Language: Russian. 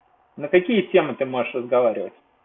на какие темы ты можешь разговаривать